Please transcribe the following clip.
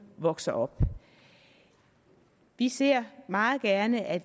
vokser op vi ser meget gerne at